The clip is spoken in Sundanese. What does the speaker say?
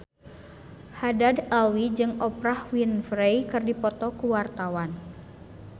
Haddad Alwi jeung Oprah Winfrey keur dipoto ku wartawan